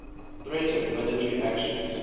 threatened military actions